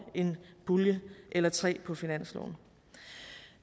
en pulje eller tre på finansloven